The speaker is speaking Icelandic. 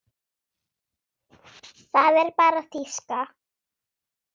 Það er bara þýska.